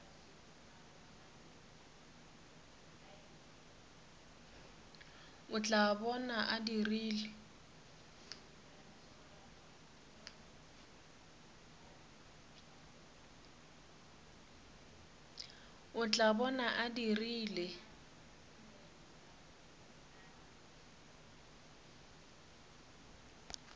o tla bona a dirile